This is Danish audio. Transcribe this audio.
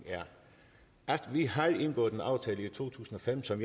er at vi har indgået en aftale i to tusind og fem som